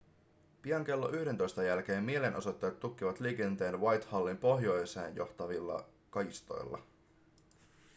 pian klo 11.00 jälkeen mielenosoittajat tukkivat liikenteen whitehallin pohjoiseen johtavilla kaistoilla